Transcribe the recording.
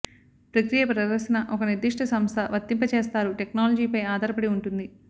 ప్రక్రియ ప్రదర్శన ఒక నిర్దిష్ట సంస్థ వర్తింపజేస్తారు టెక్నాలజీపై ఆధారపడి ఉంటుంది